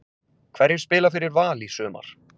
Hverjir spila fyrir Val í sumar?